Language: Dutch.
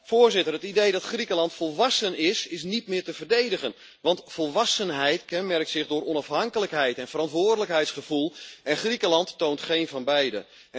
Voorzitter, het idee dat Griekenland volwassen is, is niet meer te verdedigen, want volwassenheid kenmerkt zich door onafhankelijkheid en verantwoordelijkheidsgevoel en Griekenland toont geen van beide.